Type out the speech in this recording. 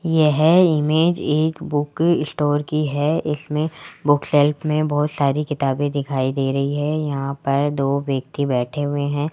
यह इमेज एक book store की है इसमें बुक सेल्फ में बहोत सारी किताबें दिखाई दे रही है यहां पर दो व्यक्ति बैठे हुए हैं।